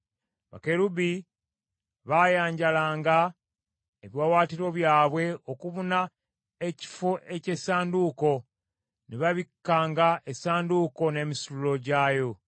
Bakerubi baayanjalanga ebiwaawaatiro byabwe okubuna ekifo eky’essanduuko, ne babikkanga essanduuko n’emisituliro gyayo.